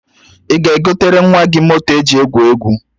Ị ga-egotere nwa gị moto eji egwu egwu?